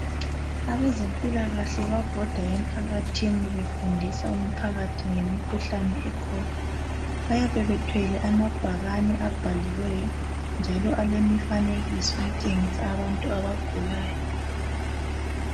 Abezempilakahle babhoda emphakathini befundisa umphakathi ngemikhuhlane ekhona. Bayabe bethwele amabhakane abhaliweyo .Njalo alemfanekiso etshengisa abantu abagulayo .